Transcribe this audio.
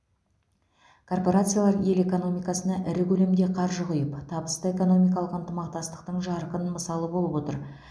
корпорациялар ел экономикасына ірі көлемде қаржы құйып табысты экономикалық ынтымақтастықтың жарқын мысалы болып отыр